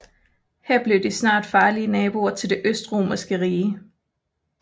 Her blev de snart farlige naboer til det Østromerske rige